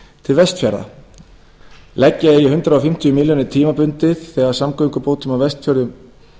til vestfjarða leggja eigi hundrað fimmtíu milljónir tímabundið þegar samgöngubótum á vestfjörðum